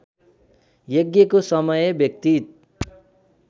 यज्ञको समय व्यतित